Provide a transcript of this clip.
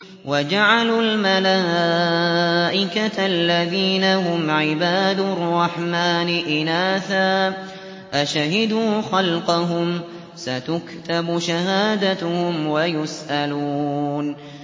وَجَعَلُوا الْمَلَائِكَةَ الَّذِينَ هُمْ عِبَادُ الرَّحْمَٰنِ إِنَاثًا ۚ أَشَهِدُوا خَلْقَهُمْ ۚ سَتُكْتَبُ شَهَادَتُهُمْ وَيُسْأَلُونَ